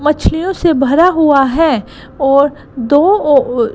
मछलियों से भरा हुआ है और दो ओ ओ--